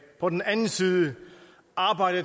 på den anden side